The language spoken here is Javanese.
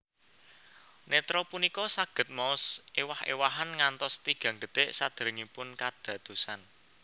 Nétra punika saged maos ewah ewahan ngantos tigang detik saderengipun kadadosan